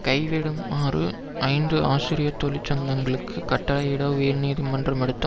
கைவிடுமாறு ஐந்து ஆசிரியர் தொழிற்சங்கங்களுக்கு கட்டளையிட உயர் நீதிமன்றம் எடுத்த